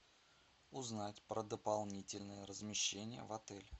узнать про дополнительное размещение в отеле